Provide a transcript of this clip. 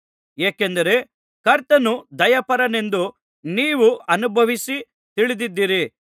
ಏಕೆಂದರೆ ಕರ್ತನು ದಯಾಪರನೆಂದು ನೀವು ಅನುಭವಿಸಿ ತಿಳಿದಿದ್ದೀರಿ